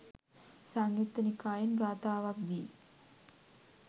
සංයුක්ත නිකායෙන් ගාථාවක්දී